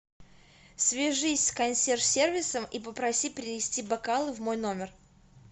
свяжись с консьерж сервисом и попроси принести бокалы в мой номер